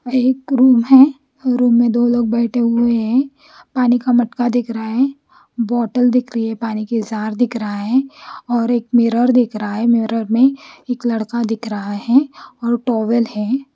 या एक रूम है और रूम में दो लोग बेठे हुए है पानी का मटका दिख रहा है बोटल दिख रही है पानी की जार दिख रहा है और एक मिरर दिख रहा है मिरर में एक लड़का दिख रहा है और टॉवेल है।